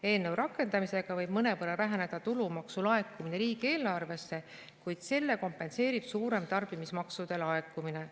Eelnõu rakendamisega võib mõnevõrra väheneda tulumaksu laekumine riigieelarvesse, kuid selle kompenseerib suurem tarbimismaksude laekumine.